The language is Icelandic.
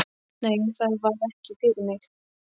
Nei, það var ekki fyrir mig.